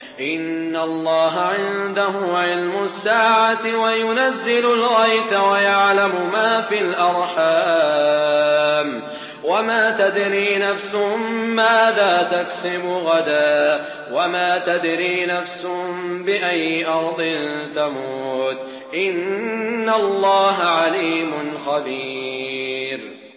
إِنَّ اللَّهَ عِندَهُ عِلْمُ السَّاعَةِ وَيُنَزِّلُ الْغَيْثَ وَيَعْلَمُ مَا فِي الْأَرْحَامِ ۖ وَمَا تَدْرِي نَفْسٌ مَّاذَا تَكْسِبُ غَدًا ۖ وَمَا تَدْرِي نَفْسٌ بِأَيِّ أَرْضٍ تَمُوتُ ۚ إِنَّ اللَّهَ عَلِيمٌ خَبِيرٌ